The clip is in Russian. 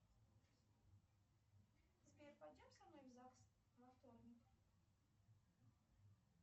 сбер пойдем со мной в загс во вторник